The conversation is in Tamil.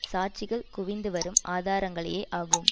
சாட்சிகள் குவிந்து வரும் ஆதாரங்களையே ஆகும்